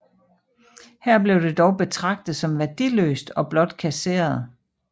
Her blev det dog betragtet som værdiløst og blot kasseret